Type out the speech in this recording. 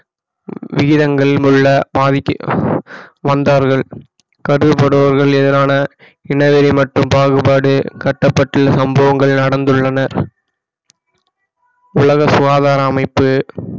விகிதங்களில் உள்ள பாதிக்கு வந்தார்கள் கருதப்படுபவர்கள் எதிரான இனவெறி மற்றும் பாகுபாடு கட்டப்பட்டுள்ள சம்பவங்கள் நடந்துள்ளன உலக சுகாதார அமைப்பு